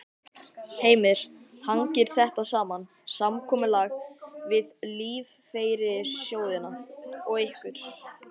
Heimir: Hangir þetta saman, samkomulag við lífeyrissjóðina og ykkur?